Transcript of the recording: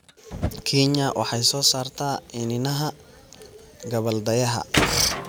Kenya waxay soo saartaa iniinaha gabbaldayaha.